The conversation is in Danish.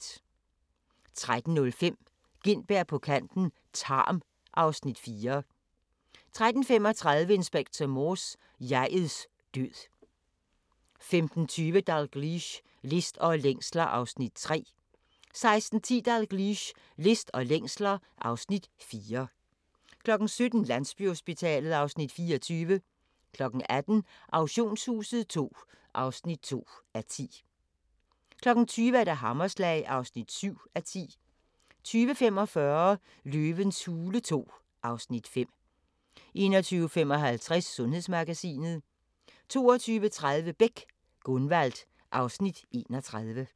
13:05: Gintberg på kanten - Tarm (Afs. 4) 13:35: Inspector Morse: Jeg'ets død 15:20: Dalgliesh: List og længsler (Afs. 3) 16:10: Dalgliesh: List og længsler (Afs. 4) 17:00: Landsbyhospitalet (Afs. 24) 18:00: Auktionshuset II (2:10) 20:00: Hammerslag (7:10) 20:45: Løvens hule II (Afs. 5) 21:55: Sundhedsmagasinet 22:30: Beck: Gunvald (Afs. 31)